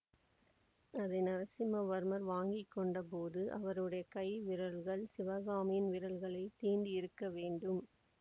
அதை நரசிம்மவர்மர் வாங்கி கொண்ட போது அவருடைய கைவிரல்கள் சிவகாமியின் விரல்களைத் தீண்டியிருக்கவேண்டும்